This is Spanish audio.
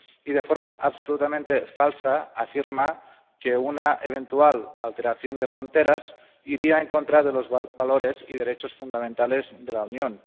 Y de forma absolutamente falsa afirma que una eventual alteración de fronteras iría en contra de los valores y derechos fundamentales de la Unión.